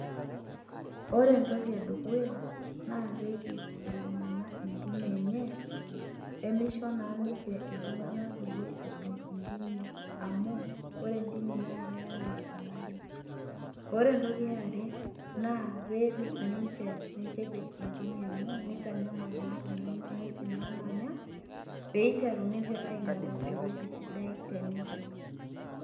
Ore entoki edukuya naa perip iltunganak intimi enye pemisho naa ninche iltunganak kulie edung intimi amu ore ntimi naa keyau olari . Ore entoki eare naa perip ninche mincho epej intimi amu tenitanyamal naa kuna ngwesin namanya , peiteru ninche eingoru ewueji sidai teninche.